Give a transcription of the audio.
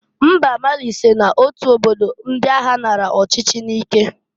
Mba Mali so n'otu obodo ndị agha naara ọchịchị n'ike.